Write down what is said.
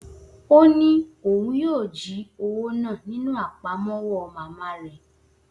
O ni oun yoo ji owo naa ninu apamọwọ mama rẹ